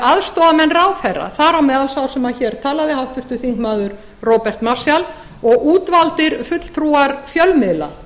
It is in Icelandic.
aðstoðarmenn ráðherra þar á meðal sá sem hér talaði háttvirtur þingmaður róbert marshall og útvaldir fulltrúar fjölmiðla